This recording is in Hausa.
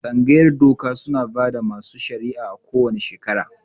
Tsangayar doka suna bada masu shari'a a ko wane shekera